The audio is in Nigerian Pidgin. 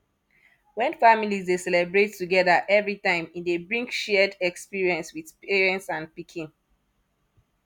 when families de celebrate togethger everytime e de bring shared experience with parents and pikin